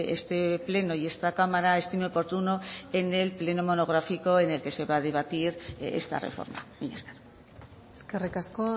este pleno y esta cámara estime oportuno en el pleno monográfico en el que se va a debatir esta reforma mila esker eskerrik asko